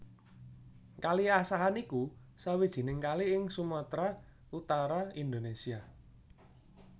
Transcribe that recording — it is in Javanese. Kali Asahan iku sawijining kali ing Sumatra Utara Indonesia